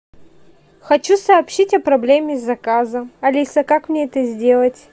хочу сообщить о проблеме с заказом алиса как мне это сделать